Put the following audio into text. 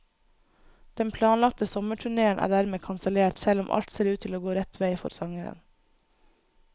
Den planlagte sommerturnéen er dermed kansellert, selv om alt ser ut til å gå rett vei for sangeren.